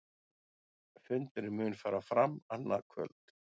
Fundurinn mun fara fram annað kvöld